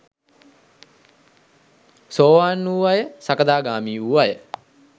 සෝවාන් වූ අය සකදාගාමී වූ අය